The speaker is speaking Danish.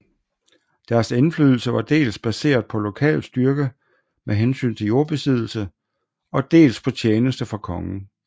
Deres indflydelse var dels baseret på lokal styrke med hensyn til jordbesiddelse og dels på tjeneste for kongen